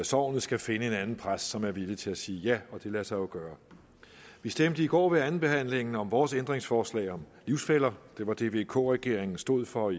så skal finde en anden præst som er villig til at sige ja og det lader sig jo gøre vi stemte i går ved andenbehandlingen om vores ændringsforslag om livsfæller det var det vk regeringen stod for